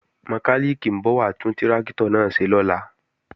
Mọkálìkì ń bọ̀ wá tún tráktọ̀ náà ṣe lọ́la